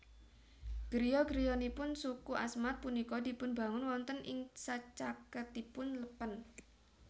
Griya griyanipun suku Asmat punika dipunbangun wonten ing sacaketipun lèpèn